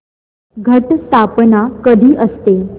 घट स्थापना कधी असते